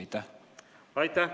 Aitäh!